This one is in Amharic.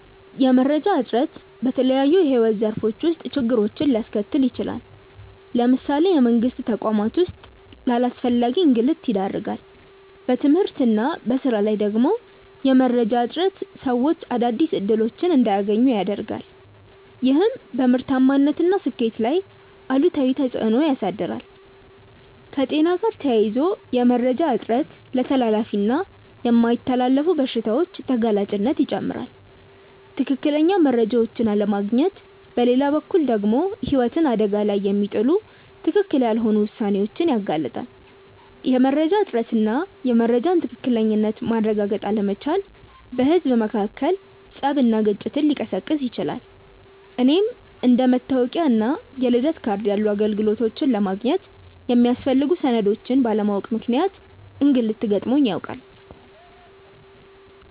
የመረጃ እጥረት በተለያዩ የሕይወት ዘርፎች ውስጥ ችግሮችን ሊያስከትል ይችላል። ለምሳሌ በመንግስት ተቋማት ውስጥ ለአላስፈላጊ እንግልት ይዳርጋል። በትምህርት እና በሥራ ላይ ደግሞ የመረጃ እጥረት ሰዎች አዳዲስ እድሎች እንዳያገኙ ያረጋል፤ ይህም በምርታማነት እና ስኬት ላይ አሉታዊ ተፅእኖ ያሳድራል። ከጤና ጋር ተያይዞ የመረጃ እጥረት ለተላላፊ እና የማይተላለፉ በሽታዎች ተጋላጭነትን ይጨምራል። ትክክለኛ መረጃዎችን አለማግኘት በሌላ በኩል ደግሞ ህይወትን አደጋ ላይ የሚጥሉ ትክክል ያልሆኑ ውሳኔዎችን ያጋልጣል። የመረጃ እጥረት እና የመረጃን ትክክለኝነት ማረጋገጥ አለመቻል በህዝብ መካከል ፀብና ግጭትን ሊቀሰቅስ ይችላል። እኔም አንደ መታወቂያ እና የልደት ካርድ ያሉ አገልግሎቶችን ለማግኘት የሚያስፈልጉ ሰነዶችን ባለማወቅ ምክንያት እንግልት ገጥሞኝ ያውቃል።